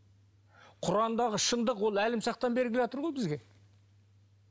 құрандағы шыңдық ол әлімсақтан бері келатыр ғой бізге